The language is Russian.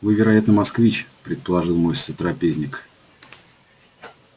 вы вероятно москвич предположил мой сотрапезник